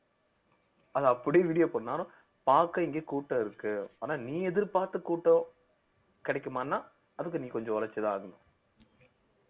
அத அப்படியே video பண்ணாலும் பார்க்க இங்க கூட்டம் இருக்கு ஆனா நீ எதிர்பார்த்த கூட்டம் கிடைக்குமான்னா அதுக்கு நீ கொஞ்சம் உழைச்சுதான் ஆகணும்